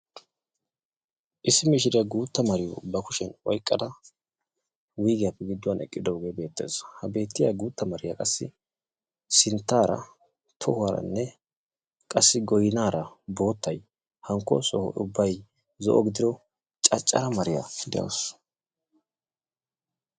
Issi mishiriyaa guutta mariyo ba kushiyan oyqqada wuygiyappe gidduwan eqqidooge beettees. Ha beettiya guutta mariyaa qassi sinttaara, tohuwaaranne qassi goynara boottay hankko soho ubbay zo'o gidido caccaara mariyaa de'awusu.